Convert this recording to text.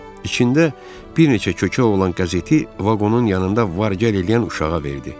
İçində bir neçə kökə olan qəzeti vaqonun yanında var-gəl eləyən uşağa verdi.